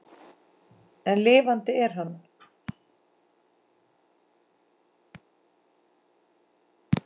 En lifandi er hann.